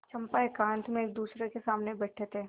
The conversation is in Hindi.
चंपा एकांत में एकदूसरे के सामने बैठे थे